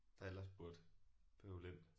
Der ellers burde bøvle ind